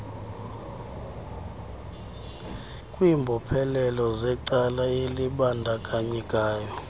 kwimbophelelo zecala elibandakanyekayo